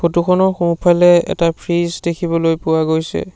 ফটোখনৰ সোঁফালে এটা ফ্ৰিজ দেখিবলৈ পোৱা গৈছে।